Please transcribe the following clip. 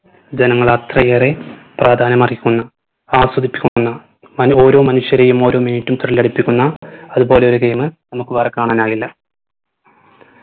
ജനങ്ങൾ അത്രയേറെ പ്രാധാന്യം അർഹിക്കുന്ന ആസ്വദിച്ചുകുന്ന മൻ ഓരോ മനുഷ്യരെയും ഓരോ minute ഉം thrill അടിപ്പിക്കുന്ന അത് പോലെ ഒരു game നമുക്ക് വേറെ കാണാനാകില്ല